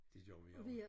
Det gjorde vi også